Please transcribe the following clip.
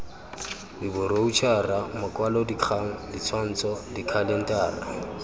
sk diboroutšhara makwalodikgang ditshwantsho dikhalentara